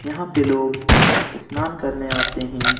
यहाँ पे लोग स्नान करने आते हैं।